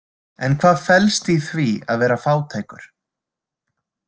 En hvað felst í því að vera fátækur?